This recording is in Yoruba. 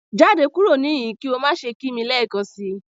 Jade kuro nihin ki o ma ṣe ki mi lẹẹkansi!